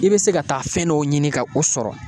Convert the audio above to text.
I bɛ se ka taa fɛn dɔw ɲini ka o sɔrɔ